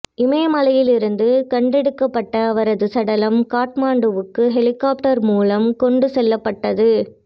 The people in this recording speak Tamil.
இமயமலையில் இருந்து கண்டெடுக்கப்பட்ட அவரது சடலம் காட்மண்டுவுக்கு ஹெலிகாப்டர் மூலம் கொண்டு செல்லப்பட்டது